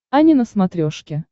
ани на смотрешке